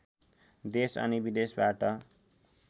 देश अनि विदेशबाट